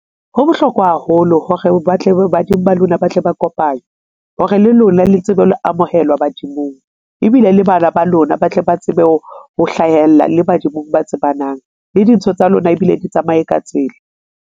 Ho bohlokwa haholo hore ba tle badimo ba lona ba tle ba kopanywe hore le lona le tsebe ho amohelwa badimong ebile le bana ba lona ba tle ba tsebe ho hlahella le badimong ba tsebanang le dintho tsa lona ebile di tsamaye ka tsela.